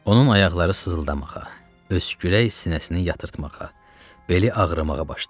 Onun ayaqları sızıldamağa, öskürək sinəsini yatırtmağa, beli ağrımağa başladı.